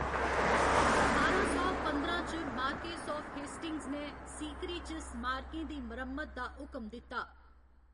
ठारां सौ पंदरां च, मार्क्वेस आफ हेस्टिंग्स ने सीकरी च स्मारकें दी मरम्मत दा हुकम दित्ता।